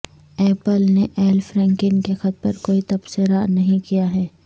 apple نے Al Franken کے خط پر کوئی تبصرہ نہیں کیا ہے